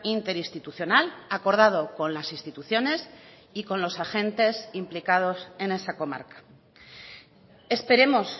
interinstitucional acordado con las instituciones y con los agentes implicados en esa comarca esperemos